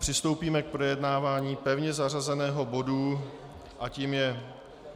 Přistoupíme k projednávání pevně zařazeného bodu a tím je